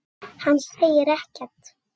Hann segir ekkert.